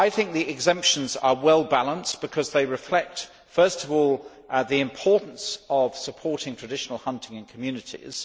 The exemptions are well balanced because they reflect, first of all, the importance of supporting traditional hunting in communities.